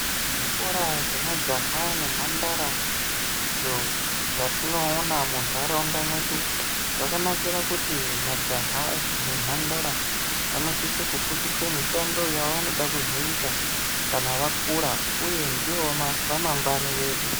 Zvikora zvemajaha nemhandara izvo zvatinoona munharaunda dzedu zvakanakire kuti majaha nemhandara vanosise kufundiswa mishando yavanoda kuzoita kana vakura uye ndivo ramangwani redu.